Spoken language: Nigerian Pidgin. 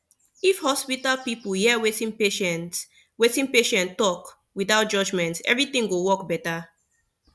if hospital people hear wetin patient wetin patient talk without judgment everything go work better